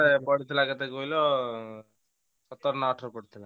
ସିଏ ଯେତେବେଳେ ପଢୁଥିଲା କେତେ କହିଲ ସତର ନା ଅଠର ପଢୁଥିଲା।